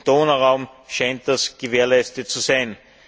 Im Donauraum scheint das gewährleistet zu sein.